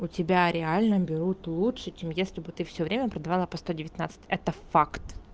у тебя реально берут лучше чем если бы ты всё время продавала по сто девятнадцать это факт